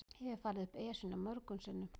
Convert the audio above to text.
Ég hef farið upp Esjuna mörgum sinnum.